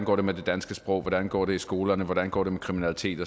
går med det danske sprog hvordan det går i skolerne hvordan det går med kriminalitet